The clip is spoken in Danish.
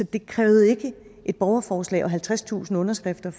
det krævede ikke et borgerforslag og halvtredstusind underskrifter